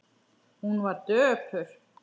Hún var döpur.